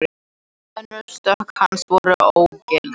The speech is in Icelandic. Tvö önnur stökk hans voru ógild